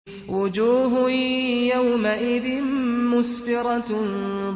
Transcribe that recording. وُجُوهٌ يَوْمَئِذٍ مُّسْفِرَةٌ